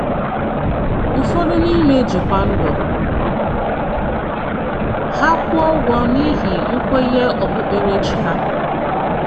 Ụfọdụ n’ime jí kwá ndụ ha kwụọ ụgwọ n’íhí nkwényé okpukpéréchí ha.